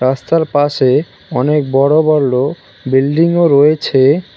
রাস্তার পাশে অনেক বড় বল বিল্ডিংও -ও রয়েছে।